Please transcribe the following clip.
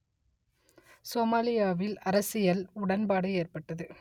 சோமாலியாவில் அரசியல் உடன்பாடு எட்டப்பட்டது